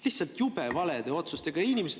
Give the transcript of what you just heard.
Lihtsalt jube valede otsustega!